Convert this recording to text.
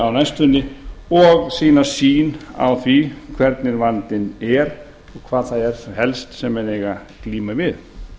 á næstunni og sína sýn á því hvernig vandinn er og hvað það er helst sem menn eiga að glíma við